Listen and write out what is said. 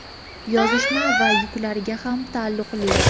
yozishma va yuklariga ham taalluqli.